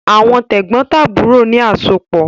Àwọn tẹ̀gbọ́ntàbúrò ni àsopọ̀